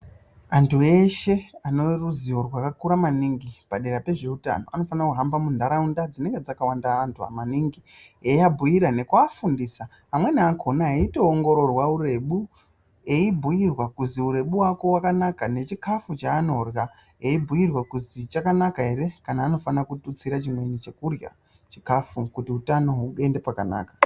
Antu eshe aneruziwo rwakakura maningi pedera pezveutano anofana kuhamba munharaunda dzinenge dzakawanda antu amaningi eyiyabhuyira nekuafundisa amweni akona eyitoongororwa wurebu eyibhuyirwa kuzi urebu hwako hwakanaka nechikafu chaanorya eyibhuyirwa kuzi chakanaka here kana anofana kututsira chimweni chekurya chikafu kuti utano huende pakanaka.